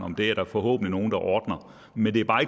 det er der forhåbentlig nogen der ordner men det er bare